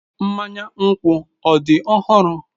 Mmanya nkwu ọ dị ọhụrụ?